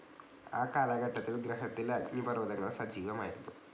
ആ കാലഘട്ടത്തിൽ ഗ്രഹത്തിലെ അഗ്നിപർവ്വതങ്ങൾ സജീവമായിരുന്നു.